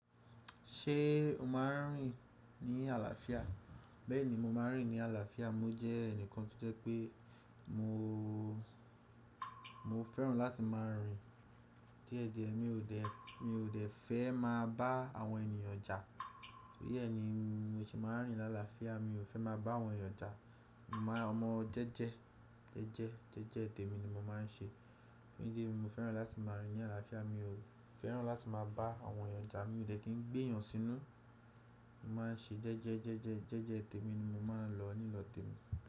Ṣé o máa ń rìn ní àlàáfíà? Bẹ́ẹ̀ni, mo máa ń rìn ní àlàáfíà. Mo jẹ́ ẹnìkan tó jẹ́ pé mo, mo fẹ́ràn láti máa ń rìn díẹ̀díẹ̀. Mi ò dẹ́, mi ò dẹ́ fẹ́ máa bá àwọn ènìyàn jà. Torí ẹ ni mo se máa ń rìn ni álàáfíà. Mi ò fẹ́ máa bá àwọn ènìyàn jà. Mo máa ń omọ jẹ́jẹ́, jẹ́jẹ́, jẹ́jẹ́ tèmi ni mo máa ń ṣe. Jeje ni mo fẹ́ràn láti máa ń rìn ní àlàáfíà. Mi ò fẹ́ràn láti máa bá àwọn ènìyàn jà. Mi ò dẹ́ kí ń gbé èèyàn sínú. Mo máa ń ṣe jẹ́jẹ́, jẹ́jẹ́, jẹ́jẹ́ tèmi ni mo máa ń lọ nílọ̀ tèmi.